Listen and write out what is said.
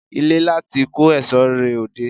Ilé láti n kó èsó rẹ òde